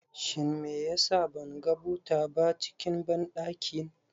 Shin meyasa ban ga buta ba cikin banɗakin